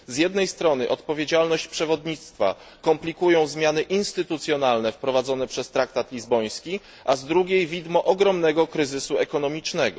Z jednej strony, odpowiedzialność przewodnictwa komplikują zmiany instytucjonalne, wprowadzone przez traktat lizboński, a z drugiej widmo ogromnego kryzysu ekonomicznego.